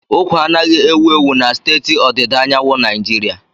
Ụkwa anaghị ewu ewu na steeti ọdịda anyanwụ Naijiria.